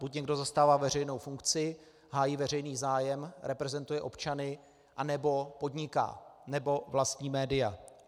Buď někdo zastává veřejnou funkci, hájí veřejný zájem, reprezentuje občany, anebo podniká, nebo vlastní média.